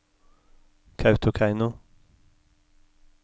Kautokeino